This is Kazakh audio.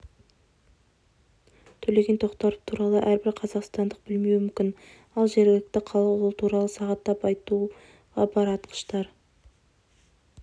төлеген тоқтаров туралы әрбір қазақстандық білмеуі мүмкін ал жергілікті халық ол туралы сағаттап айтуға бар атқыштар